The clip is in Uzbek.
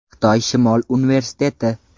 Xitoy Shimol Universiteti.